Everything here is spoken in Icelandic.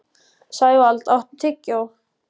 Sævald, áttu tyggjó?